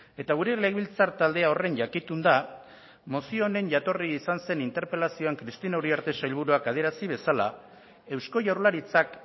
eta gure legebiltzar taldea horren jakitun da mozio honen jatorri izan zen interpelazioan cristina uriarte sailburuak adierazi bezala eusko jaurlaritzak